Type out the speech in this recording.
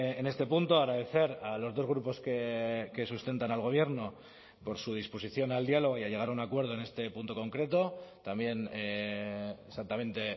en este punto agradecer a los dos grupos que sustentan al gobierno por su disposición al diálogo y a llegar a un acuerdo en este punto concreto también exactamente